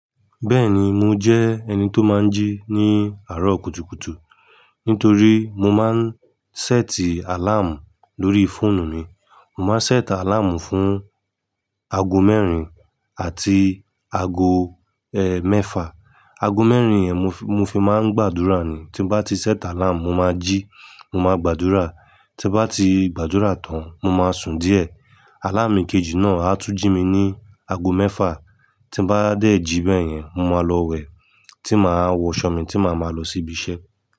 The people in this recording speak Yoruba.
Bẹ́ẹ̀ni mo jẹ́ ẹni tó máa ń jí ní àárọ̀ kùtùkùtù, nítorí mo máa ń sẹ́ẹ̀tì àláàmù lórí fóònù mi. Mo máa ń sẹ́ẹ̀tì àláàmù fún ago mẹ́rin àti ago, ẹ, mẹ́fà. Ago mẹ́rin yẹn mo fi, mo fi máa ń gbàdúrà ni. Tí mo bá ti sẹ́ẹ̀tì àláàmù, mo máa jí, mo máa gbàdúrà. Tí mo bá ti gbàdúrà tán, mo máa sùn díẹ̀. Aláàmù kejì náà á tún jí mi ní ago mẹ́fà. Tí mo bá dé jí bẹ́yẹn, mo máa lọ wẹ̀, tí màá wọ ṣọ́ọ̀ mi tí màá máa lọ sí ibi iṣẹ́.